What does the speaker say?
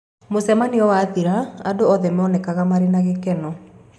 Mũcemanio wathira, andũ othe monekaga marĩ na gĩkeno.